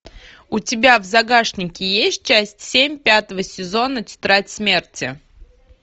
у тебя в загашнике есть часть семь пятого сезона тетрадь смерти